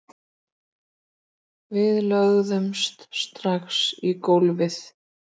Við lögðumst strax í gólfið